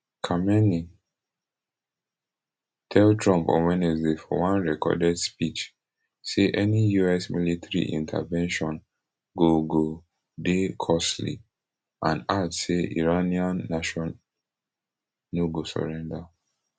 khamenei tell trump on wednesday for one recorded speech say any us military intervention go go dey costly and add say iranian nation no go surrender